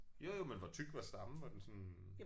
Jo jo men hvor tyk var stammen var den sådan